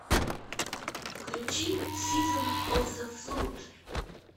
включи сизон оф зе флуд